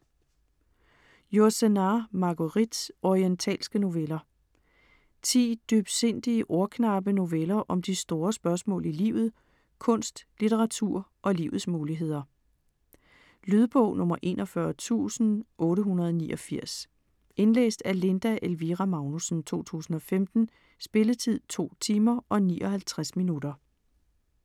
Yourcenar, Marguerite: Orientalske noveller Ti dybsindige, ordknappe noveller om de store spørgsmål i livet; kunst, litteratur og livets muligheder. Lydbog 41889 Indlæst af Linda Elvira Magnussen, 2015. Spilletid: 2 timer, 59 minutter.